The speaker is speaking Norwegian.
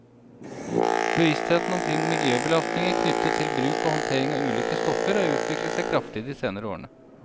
Bevisstheten omkring miljøbelastninger knyttet til bruk og håndtering av ulike stoffer har utviklet seg kraftig i de senere årene.